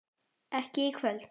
ekki í kvöld.